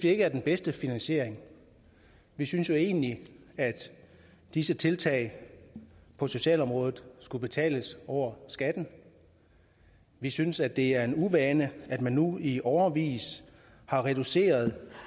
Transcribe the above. ikke er den bedste finansiering vi synes jo egentlig at disse tiltag på socialområdet skulle betales over skatten vi synes at det er en uvane at man nu i årevis har reduceret